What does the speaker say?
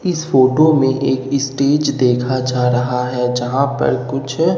इस फोटो में एक स्टेज देखा जा रहा है जहां पर कुछ--